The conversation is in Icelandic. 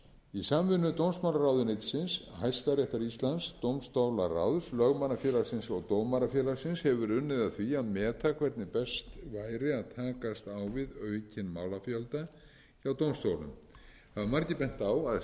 í samvinnu dómsmálaráðuneytisins hæstaréttar íslands dómstólaráðs lögmannafélagsins og dómarafélagsins hefur verið unnið að því að meta hvernig best væri að takast á við aukinn málafjölda hjá dómstólum hafa margir bent á að